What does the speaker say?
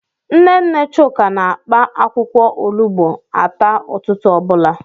Nne nne Chuka na-akpa akwụkwọ olugbo ata ụtụtụ ọ bụla.